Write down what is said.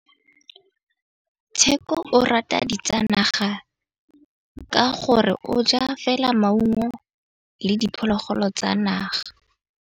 Tshekô o rata ditsanaga ka gore o ja fela maungo le diphologolo tsa naga.